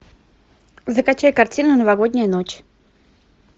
закачай картину новогодняя ночь